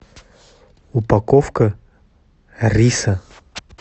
упаковка риса